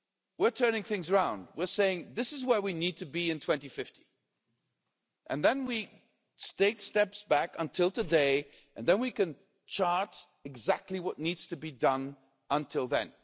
We're turning things round. We're saying this is where we need to be in 2050 and then we take steps back until today and then we can chart exactly what needs to be done until then.